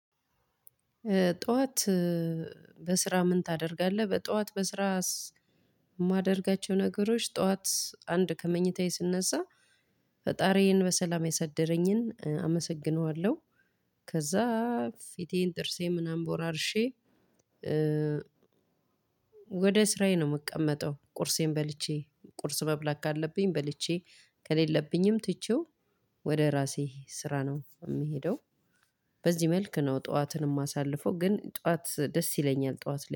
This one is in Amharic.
ጠዋት በስራ ምን ታደርጋለህ? በጠዋት በስራ የማደርጋቸው ነገሮች ጠዋት አንድ ከመኝታዬ ስነዛ ፈጣሪዬን በሰላም ያሳደረኝን አመሰግነዋለሁ ከዛ ፊቴን ጥርሴ ምናምን ቦራርሼ። ወደ ስራዬ ነው የምቀመጠው። ቁርሴን በልቼ ቁርስ መብላት ካለብኝ በልቼ ከሌለብኝም ትቼው ወደ ራሴ ስራ ነው የምሄደው። በዚህ መልክ ነው ጠዋትን እማሳልፈው። ግን ጠዋት ደስ ይለኛል ጠዋት ላይ